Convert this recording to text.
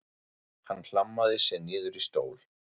Hann hlammaði sér niður í stól.